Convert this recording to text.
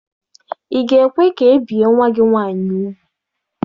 Ị ga-ekwe ka e bie nwa gị nwaanyị ugwu?